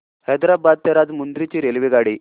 हैदराबाद ते राजमुंद्री ची रेल्वेगाडी